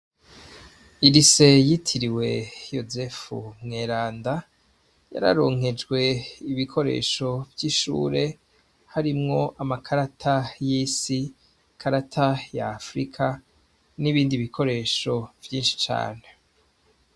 Iri se yitiriwe yosefu mwelanda yararonkejwe ibikoresho vy'ishure harimwo amakarata y'isi karata ya afrika n'ibindi bikoresho vyinshi cane.